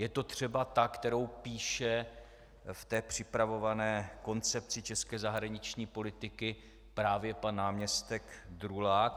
Je to třeba ta, kterou píše v té připravované Koncepci české zahraniční politiky právě pan náměstek Drulák?